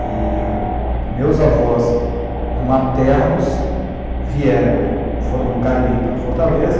E meus avós maternos vieram, foram do Cariri para Fortaleza,